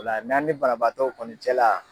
Ola n'an ni banabaatɔw kɔni cɛ la